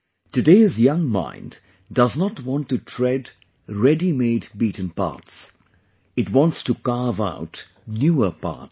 Today's young mind does not want to tread ready made beaten paths; it wants to carve out newer paths